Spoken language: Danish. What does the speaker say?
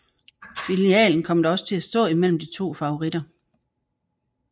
Finalen kom da også til at stå imellem de to favoritter